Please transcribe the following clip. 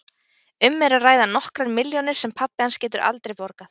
Um er að ræða nokkrar milljónir sem pabbi hans getur aldrei borgað.